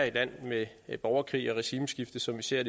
et land med borgerkrig og regimeskifte som vi ser